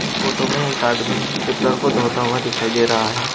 इस फोटो में एक आदमी टिपलर को धोता हुआ दिखाई दे रहा है।